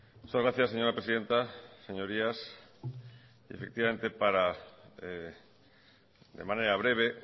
muchas gracias señora presidenta señorías efectivamente para de manera breve